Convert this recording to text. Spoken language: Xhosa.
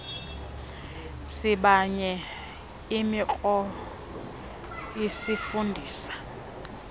sibanye imikro isifundisa